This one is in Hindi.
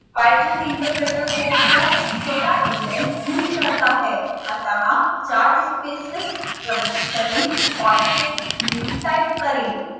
python interpreter कोड को स्वतः इंडेंट नहीं करता है अतः चार स्पेसेस प्रविष्ट करें और फिर निम्न टाइप करें